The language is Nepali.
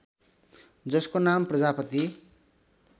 जसको नाम प्रजापती